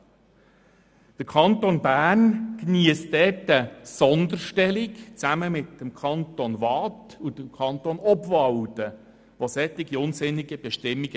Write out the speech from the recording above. Zusammen mit den Kantonen Waadt und Obwalden, welche ebenfalls solche unsinnigen Bestimmungen kennen, geniesst der Kanton Bern diesbezüglich eine Sonderstellung.